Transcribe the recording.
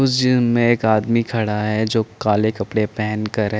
उस में एक आदमी खड़ा है जो काले कपडे पहन कर --